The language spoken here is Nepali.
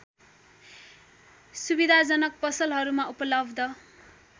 सुविधाजनक पसलहरूमा उपलब्ध